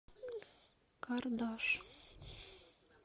кардаш